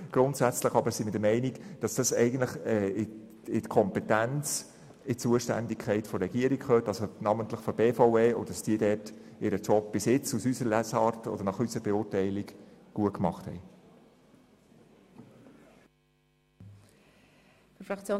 Doch grundsätzlich sind wir der Meinung, dass dies in die Kompetenz der Regierung, namentlich der BVE, gehört und diese ihren Job bisher nach unserer Beurteilung gut gemacht hat.